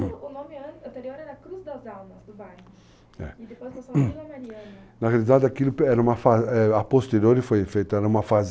O nome anterior era Cruz das Almas do bairro, é, e depois passou a Vila Mariana? Na verdade, aquilo, a posteriori, foi feita, era uma